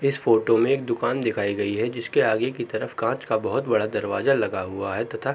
इस फोटो में एक दुकान दिखाई गई है जिस के आगे की तरफ कांच का बहौत बड़ा दरवाजा लगा हुआ है तथा --